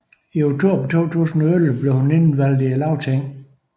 I oktober 2011 blev hun indvalgt i Lagtinget